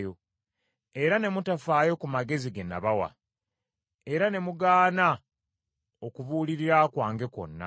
era ne mutafaayo ku magezi ge nabawa, era ne mugaana okubuulirira kwange kwonna,